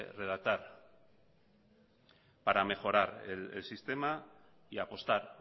redactar para mejorar el sistema y apostar